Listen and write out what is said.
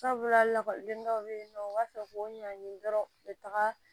Sabula lakɔliden dɔw bɛ yen nɔ u b'a fɛ k'u ɲagamin dɔrɔn u bɛ taga